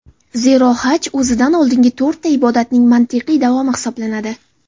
Zero, Haj o‘zidan oldingi to‘rtta ibodatning mantiqiy davomi hisoblanadi.